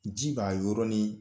Ji b'a yɔrɔnin